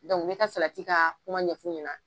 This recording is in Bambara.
me ka ka kuma ɲɛ f'u ɲɛna.